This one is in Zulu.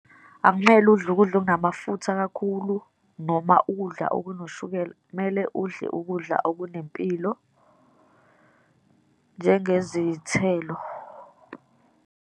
Akumele udle ukudla okunamafutha kakhulu, noma ukudla okunoshukela. Kumele udle ukudla okunempilo, njengezithelo.